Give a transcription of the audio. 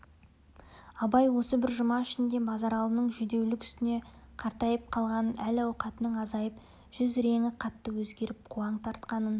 абай осы бір жұма ішінде базаралының жүдеулік үстіне қартайып қалғанын әл-қуатының азайып жүз реңі қатты өзгеріп қуаң тартқанын